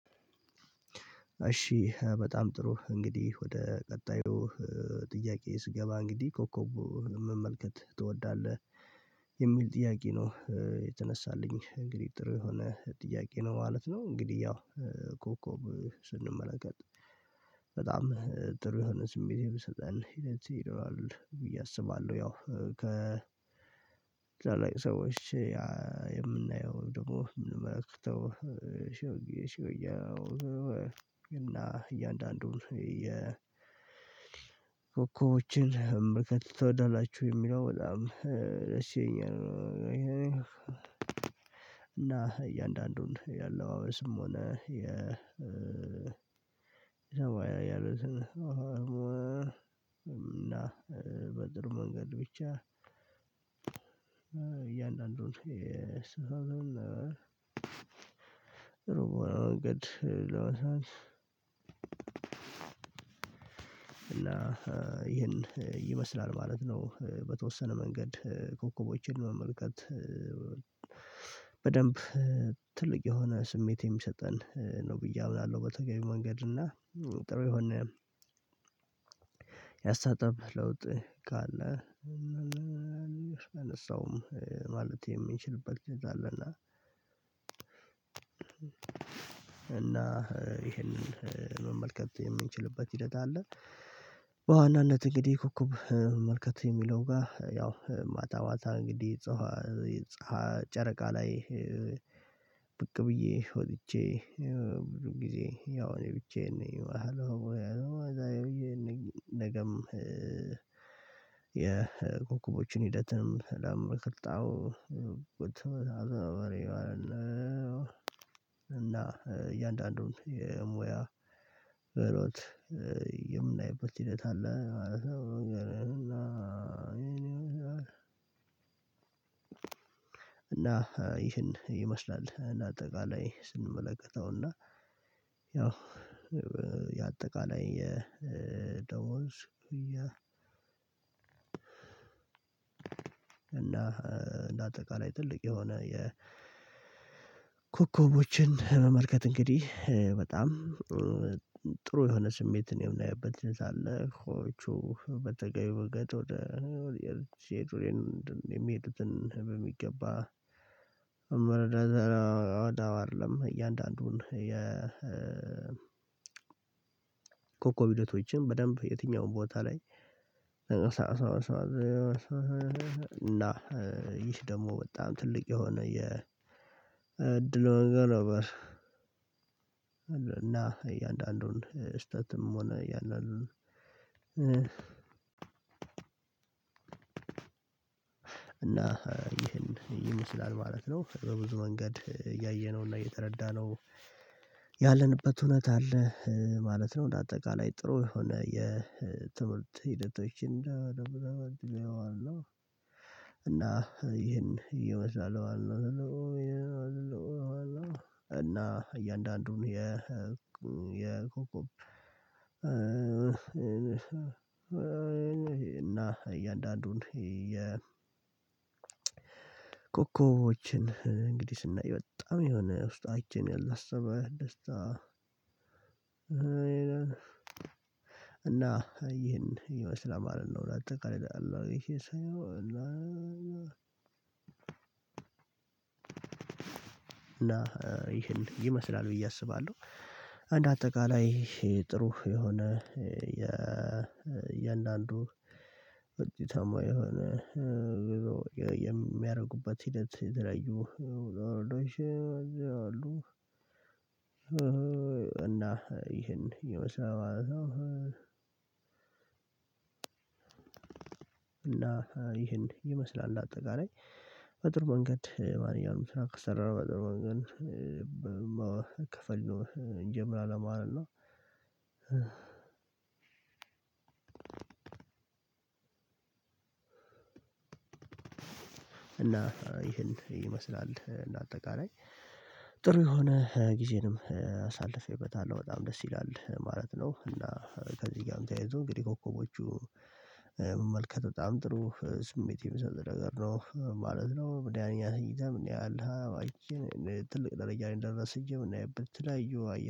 እሺ በጣም ጥሩ እንግዲህ ወደ ቀጣዩ ጥያቄ ስገባ እንግዲህ ኮከቡ መመልከት ትወዳለህ የሚል ጥያቄ ነው የተነሳልኝ እንግዲህ ጥሩ የሆነ ጥያቄ ነው ማለት ነው። እንግዲህ ያው ኮከብ ስንመለከት በጣም ጥሩ የሆነ ስሜት የሚሰጠን ይሄን ይሄዳል ብዬ አስባለሁ። ያው ከ ታላላቅ ሰዎች የምናየው ደግሞ የምንመለከተው ሽውጊ ሽውጊ እና እያንዳንዱን የኮኮቦችን ምርካት ትወዳላችሁ የሚለው በጣም እሺ የኛን እና እያንዳንዱን ያለው አበስም ሆነ የ እና በድር መንገድ ብቻ እያንዳንዱን እስቲ አሁን መንገድ ለወሳ እና ይሄን ይመስላል ማለት ነው። በተወሰነ መንገድ ኮከቦችን መመልከት በደንብ ትልቅ የሆነ ስሜት የሚሰጠን ነው ብዬ አምናለሁ። በተገቢ መንገድ እና ጥሩ የሆነ ያስተሳሰብ ለውጥ ካለ አነሳውም ማለት የምንችልበት ሂደት አለና። እና ይሄንን መመልከት የምንችልበት ሂደት አለ። በዋናነት እንግዲህ ኮከብ መመልከት የሚለው ጋር ያው ማታ ማታ እንግዲህ ጨረቃ ላይ ብቅ ብዬ ወጥቼ ብዙ ጊዜ ያው እኔ ብቻዬን ነው አለው አለው አዛዬ ብዬ ነገም የኮከቦችን ሂደትንም ለምንመለክት በጣም እና እያንዳንዱን የሙያ በሎት የምናይበት ሂደት አለ ማለት ነው። ይሄን ይመስላል እና አጠቃላይ ስንመለከተውና ያው የአጠቃላይ ደሞዝ ያ እና እንደ አጠቃላይ ትልቅ የሆነ የ ኮከቦችን መመልከት እንግዲህ በጣም ጥሩ የሆነ ስሜትን የምናየብት ሂደት አለ። ኮኮቦቹ በተገቢ መንገድ ወደ ሴቱሬን የሚሄድትን በሚገባ አይደለም እያንዳንዱን የ ኮኮብ ሂደቶችን በደንብ የትኛውም ቦታ ላይ እና ይህ ደግሞ በጣም ትልቅ የሆነ የእድሉን ገሎበር እና እያንዳንዱን ስህተትም ሆነ እያንዳንዱን እና ይህን ይመስላል ማለት ነው። በብዙ መንገድ ያየነውና የተረዳነው ያለንበት እውነት አለ ማለት ነው። እንደ አጠቃላይ ጥሩ የሆነ የትምህርት ሂደቶችን እና ይሄን ይመስላል ለማለት ነው የምፈልገው። እና እያንዳንዱን የ እና እያንዳንዱን የ ኮኮቦችን እንግዲህ ስናይ በጣም የሆነ ውስጣችን ያላሰበ ደስታ እና ይህን ይመስላል ማለት ነው። በአጠቃላይ ሳየው እና እና ይህን ይመስላል ብዬ አስባለሁ። አንድ አጠቃላይ ጥሩ የሆነ የእያንዳንዱ ወጥተማ የሆነ የሚያደርጉበት ሂደት የተለያዩ አሉ እና ይሄን ይመስላል ማለት ነው። እና ይሄን ይመስላል እንደአጠቃላይ በጥሩ መንገድ ማርያምን ስራ ከሰራን በጥሩ መንገድ መከፈል እንጀምራለን ማለት ነው። እና ይህን ይመስላል እንደአጠቃላይ ጥሩ የሆነ ጊዜንም አሳልፌበታለሁ በጣም ደስ ይላል ማለት ነው። እና ከዚህ ጋርም ተያይዞ እንግዲህ ኮከቦቹ መመልከት በጣም ጥሩ ስሜት የሚሰጥ ነገር ነው ማለት ነው። በዚህ አንድ ተኝተህ እኔ አልሃ ትልቅ ደረጃ ነኝ ደረስኩኝ የምናይበት የተለያዩ